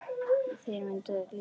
Þér myndi ekki líka það.